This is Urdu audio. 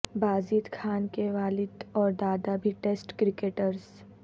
بازید خان کے والد اور دادا بھی ٹیسٹ کرکٹرز